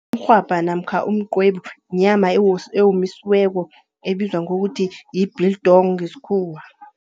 Umrhwabha namkha umqwebu yinyama ewomisiweko ebizwa ngokuthi yi-biltong ngeskhuwa.